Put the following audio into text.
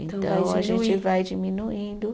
Então, a gente vai diminuindo.